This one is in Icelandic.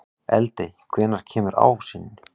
Eldey, hvenær kemur ásinn?